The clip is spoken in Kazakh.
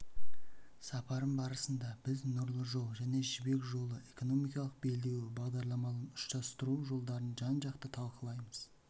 сапарым барысында біз нұрлы жол және жібек жолы экономикалық белдеуі бағдарламаларын ұштастыру жолдарын жан-жақты талқылаймыз